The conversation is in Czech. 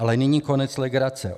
Ale nyní konec legrace.